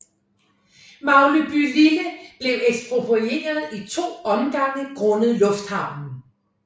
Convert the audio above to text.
Maglebylille blev eksproprieret i to omgange grundet lufthavnen